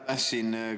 Aitäh!